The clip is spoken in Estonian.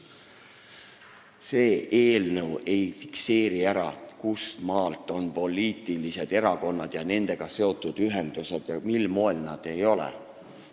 See eelnõu ei fikseeri ära, kustmaalt on tegu poliitiliste erakondade ja nendega seotud ühendustega ja kustmaalt nad ei ole seda.